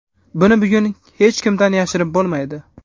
Buni bugun hech kimdan yashirib bo‘lmaydi.